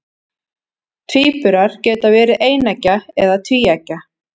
tvíburar geta verið eineggja eða tvíeggja